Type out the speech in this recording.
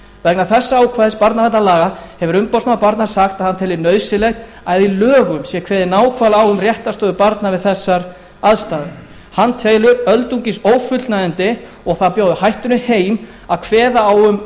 vegna þessa ákvæðis barnaverndarlaga hefur umboðsmaður barna sagt að hann telji nauðsynlegt að í lögum sé kveðið nákvæmlega á um réttarstöðu barna við þessar aðstæður hann telur öldungis ófullnægjandi og það bjóði hættunni heim að kveða á um